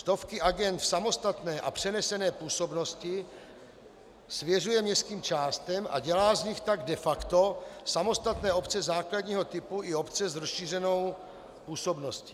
Stovky agend v samostatné a přenesené působnosti svěřuje městským částem a dělá z nich tak de facto samostatné obce základního typu i obce s rozšířenou působností.